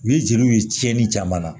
U ye jeliw ye tiɲɛni caman na